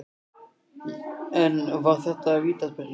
En var þetta vítaspyrna?